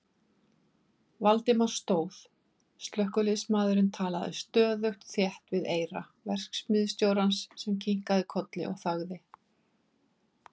Valdimar stóð, slökkviliðsmaðurinn talaði stöðugt þétt við eyra verksmiðjustjórans sem kinkaði kolli og þagði.